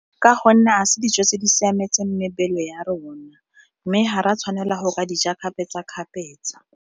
Ka gonne ga se dijo tse di siametseng mebele ya rona, mme ga ra tshwanela go ka dija kgapetsakgapetsa.